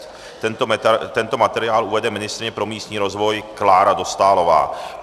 Tento materiál uvede ministryně pro místní rozvoj Klára Dostálová.